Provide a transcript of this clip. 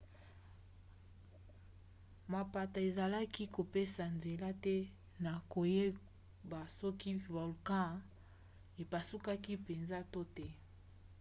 mapata ezalaki kopesa nzela te na koyeba soki volkan epasukaki mpenza to te